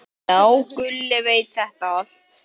Já, Gulli veit þetta allt.